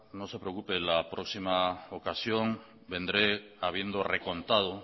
no se preocupe la próxima ocasión vendré habiendo recontado